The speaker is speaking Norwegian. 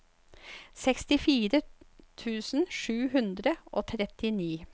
sekstifire tusen sju hundre og trettini